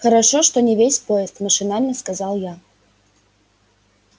хорошо что не весь поезд машинально сказал я